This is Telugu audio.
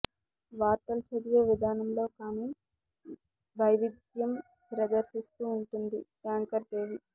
వార్తలు చదివే విధానంలో కాని వైవిధ్యం ప్రదర్శిస్తూ ఉంటుంది యాంకర్ దేవి